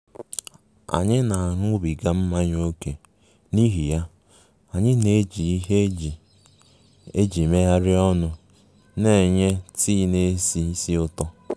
Anyị na-aṅụbiga mmanya ókè, n'ihi ya, anyị na-eji ihe eji eji megharịa ọnụ na-enye tii na-esi ísì ụtọ